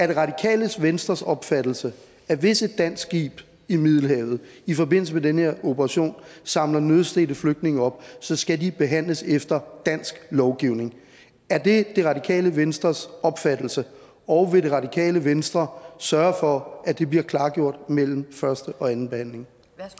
det radikale venstres opfattelse at hvis et dansk skib i middelhavet i forbindelse med den her operation samler nødstedte flygtninge op så skal de behandles efter dansk lovgivning er det det radikale venstres opfattelse og vil det radikale venstre sørge for at det bliver klargjort mellem første og anden behandling